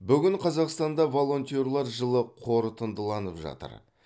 бүгін қазақстанда волонтерлер жылы қорытындыланып жатыр